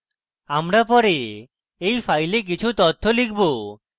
আমরা পরে we file কিছু তথ্য লিখব